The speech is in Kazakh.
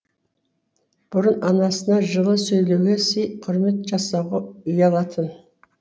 бұрын анасына жылы сөйлеуге сый құрмет жасауға ұялатын